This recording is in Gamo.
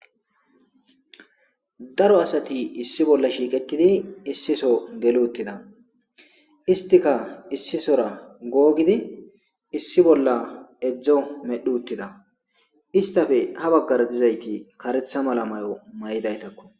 daro asati issi bolla shiiqetidi issiso geli uttida istika issisora googidi issi bolla edzdzo medhu uttida istafe ha baggara dizayti karetha mala mayo may7daytakko